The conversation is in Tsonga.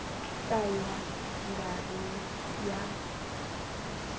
ka ya nga ri ya